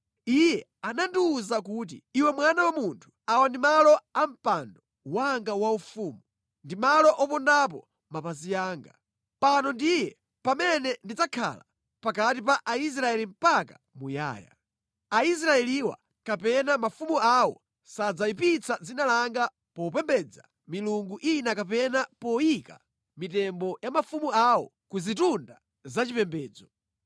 Iye anandiwuza kuti, “Iwe mwana wa munthu, awa ndi malo a mpando wanga waufumu, ndi malo opondapo mapazi anga. Pano ndiye pamene ndidzakhala pakati pa Aisraeli mpaka muyaya. Aisraeliwa kapena mafumu awo sadzayipitsa dzina langa popembedza milungu ina kapena poyika mitembo ya mafumu awo ku zitunda zachipembedzo.